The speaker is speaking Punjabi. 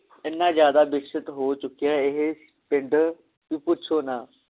ਇਹਨਾ ਜ਼ਿਆਦਾ ਵਿਕਸਤ ਹੋ ਚੁਕਿਆ ਇਹ ਪਿੰਡ ਵੀ ਪੁਛੋ ਨਾ